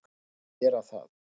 Hún skal gera það.